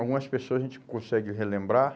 Algumas pessoas a gente consegue relembrar.